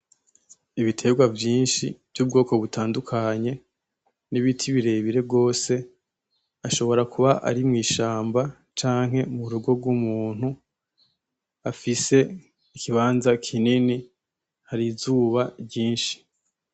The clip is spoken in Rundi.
Ibitegwa vyinshi vy'ubwoko butandukanye n'ibiti birebire gwose ashobora kuba arimwishamba canke murugo gwumuntu afise ikibanza kinini harizuba ryinshi.